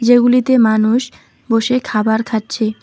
যেগুলিতে মানুষ বসে খাবার খাচ্ছে।